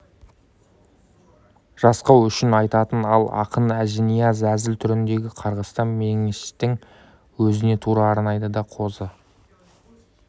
жасқау үшін айтатын ал ақын әжінияз әзіл түріндегі қарғысты меңештің өзіне тура арнайды да қозы